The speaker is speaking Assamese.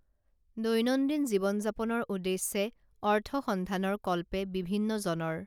দৈনন্দিন জীৱন যাপনৰ উদ্দেশ্যে অৰ্থসন্ধানৰ কল্পে বিভিন্নজনৰ